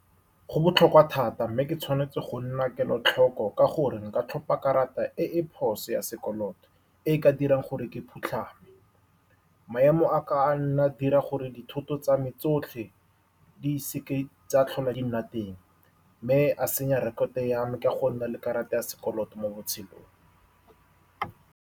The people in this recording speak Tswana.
Go botlhokwa thata, mme ke tshwanetse go nna kelotlhoko ka gore nka tlhopha karata e e phoso ya sekoloto e e ka dirang gore ke phutlhame. Maemo a ka nna a dira gore dithoto tsa me tsotlhe di seka tsa tlhola di nna teng, mme a senya rekoto ya me ka go nna le karata ya sekoloto mo botshelong.